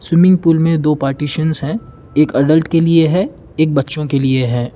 Swimming pool में दो partitions हैं एक एडल्ट के लिए है एक बच्चों के लिए है।